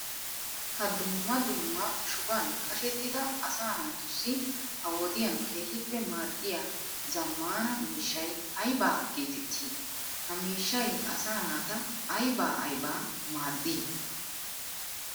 Ha dumma dumma shuban qashettidda asaa naatussi ha wodiyan keehippe maadiya zamaana miishshay aybba geetetti? Ha miishshay asaa naata aybba aybba maaddi?